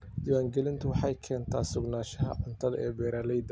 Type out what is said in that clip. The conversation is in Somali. Diiwaangelintu waxay keentaa sugnaanshaha cuntada ee beeralayda.